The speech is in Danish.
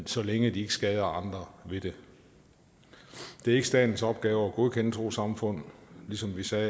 så længe de ikke skader andre ved det det er ikke statens opgave at godkende trossamfund ligesom vi sagde